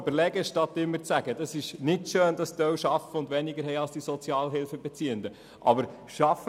Anstatt immer zu sagen, es sei nicht schön, dass einige Arbeitnehmende weniger hätten als Sozialhilfebeziehende, sollte man besser nachdenken.